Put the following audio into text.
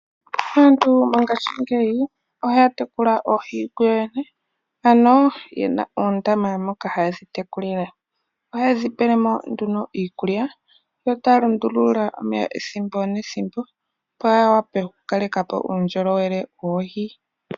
Aantu mongashingeyi ohaya tekula oohi koyo yene ano yena oondama moka hayedhi tekulile. Ohaye dhipelemo nduno iikulya yotaa lundulula omeya ethimbo nethimbo opo yiwape oku kalekapo uundjolowele woohi.